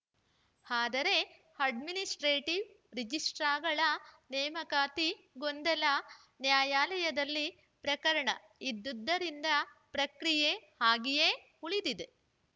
ಆದರೆ ಅಡ್ಮಿನಿಸ್ಪ್ರೇಟಿವ್‌ ರಿಜಿಸ್ಟ್ರಾರ್ಗಳ ನೇಮಕಾತಿ ಗೊಂದಲ ನ್ಯಾಯಾಲಯದಲ್ಲಿ ಪ್ರಕರಣ ಇದ್ದುದರಿಂದ ಪ್ರಕ್ರಿಯೆ ಹಾಗೆಯೇ ಉಳಿದಿದೆ